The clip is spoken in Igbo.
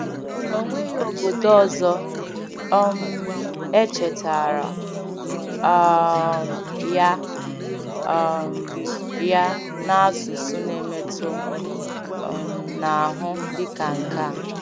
Ọ nweghị obodo ọzọ um echetaara um ya um ya n’asụsụ na-emetụ um n’ahụ dịka nke a.